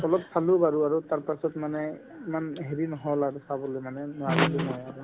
অলপ চালো বাৰু আৰু তাৰপাছত মানে ইমান হেৰি নহ'ল আৰু চাবলৈ মানে নোৱাৰিলো মই আৰু